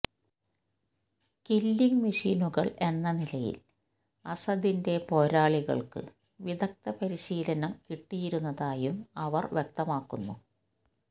killing മെഷീനുകള് എന്ന നിലയില് അസദിന്റെ പേരാളികള്ക്ക് വിദഗ്ദ്ധ പരിശീലനം കിട്ടിയിരുന്നതായും അവര് വ്യക്തമാക്കുന്നു